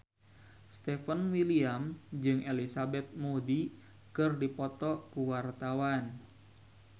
Stefan William jeung Elizabeth Moody keur dipoto ku wartawan